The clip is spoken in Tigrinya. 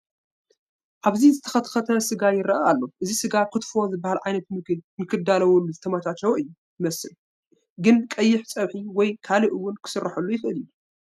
ኣብዚ ዝተኸትከተ ስጋ ይርአ ኣሎ፡፡ እዚ ስጋ ክትፎ ዝበሃል ዓይነት ምግቢ ንክዳለወሉ ዝተመቻቸወ እዩ ዝመስል፡፡ ግን ቀይሕ ፀብሒ ወይ ካልእ እውን ክስርሐሉ ይኽእል እዩ፡፡፡